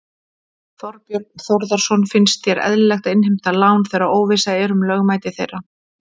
Þorbjörn Þórðarson: Finnst þér eðlilegt að innheimta lán þegar óvissa er um lögmæti þeirra?